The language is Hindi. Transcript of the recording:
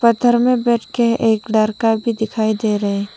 पत्थर में बैठके एक लड़का भी दिखाई दे रहे --